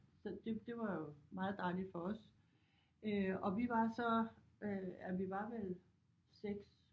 Så det det var jo meget dejligt for os øh og vi var så øh ja vi var vel 6